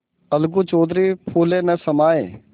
अलगू चौधरी फूले न समाये